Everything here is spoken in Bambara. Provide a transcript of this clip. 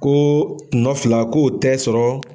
Ko kunɔ fila k'o tɛ sɔrɔ.